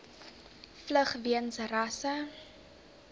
vlug weens rasse